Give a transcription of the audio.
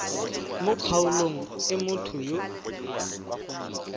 mo kgaolong e motho yo